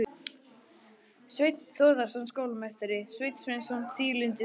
Sveinn Þórðarson skólameistari, Sveinn Sveinsson, Víglundur Þór